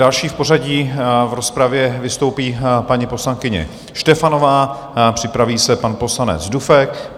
Další v pořadí v rozpravě vystoupí paní poslankyně Štefanová, připraví se pan poslanec Dufek.